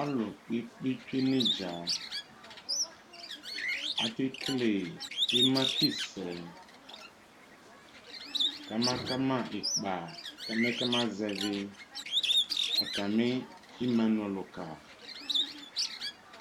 Alʋ kpekpekpe tsue nʋ idza Akekele imakisɛ kamaka ma ikpa mɛ kama zɛvi atami imanu ɔlʋka